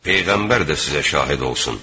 Peyğəmbər də sizə şahid olsun.